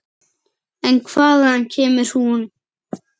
En hvaðan kemur hún?